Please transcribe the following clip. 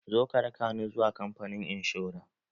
Zo ka raka ni zuwa kamfanin inshora!